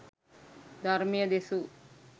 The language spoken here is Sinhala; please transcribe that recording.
ධර්මය දෙසූ